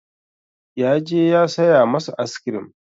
Ya je ya saya masu aiskrim.